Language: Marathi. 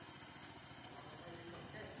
आता आम्हाला माहिती आहे कस काय